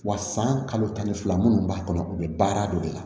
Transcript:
Wa san kalo tan ni fila minnu b'a kɔnɔ u bɛ baara don de la